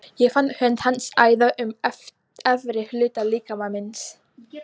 Ég fann hönd hans æða um efri hluta líkama míns.